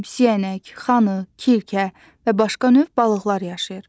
siyənək, xanı, kirkə və başqa növ balıqlar yaşayır.